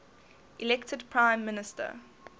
elected prime minister